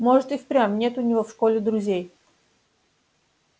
может и впрямь нет у него в школе друзей